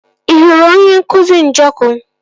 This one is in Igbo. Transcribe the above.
Ị hụrụ onye nkụzi Njọkụ?